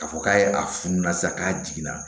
K'a fɔ k'a ye a funu na sisan k'a jiginna